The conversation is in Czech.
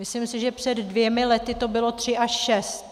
Myslím si, že před dvěma lety to bylo tři až šest.